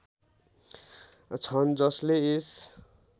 छन् जसले यस